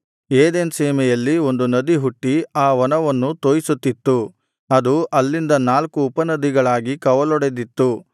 Eden ಸೀಮೆಯಲ್ಲಿ ಒಂದು ನದಿ ಹುಟ್ಟಿ ಆ ವನವನ್ನು ತೋಯಿಸುತ್ತಿತು ಅದು ಅಲ್ಲಿಂದ ನಾಲ್ಕು ಉಪನದಿಗಳಾಗಿ ಕವಲೊಡೆದಿತ್ತು